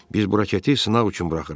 Biz bu raketi sınaq üçün buraxırıq.